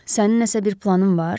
Sənin nəsə bir planın var?